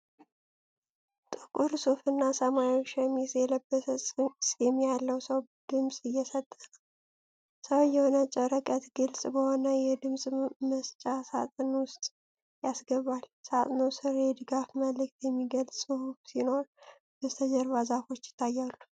ጥቁር ሱፍና ሰማያዊ ሸሚዝ የለበሰ ፂም ያለው ሰው ድምጽ እየሰጠ ነው። ሰውዬው ነጭ ወረቀት ግልጽ በሆነ የድምጽ መስጫ ሣጥን ውስጥ ያስገባል። ሣጥኑ ስር የድጋፍ መልእክት የሚገልጽ ጽሑፍ ሲኖር፣ በስተጀርባ ዛፎች ይታያሉ።